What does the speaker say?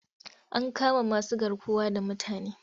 An kama masugarkuwa da mutane.